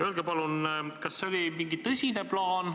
Öelge palun, kas see on mingi tõsine plaan.